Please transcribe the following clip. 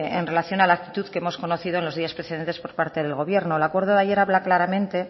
en relación a la actitud que hemos conocido en los días precedentes por parte del gobierno el acuerdo de ayer habla claramente